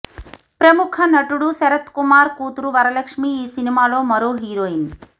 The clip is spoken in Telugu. ప్రముఖ నటుడు శరత్ కుమార్ కూతురు వరలక్ష్మి ఈ సినిమాలో మరో హీరోయిన్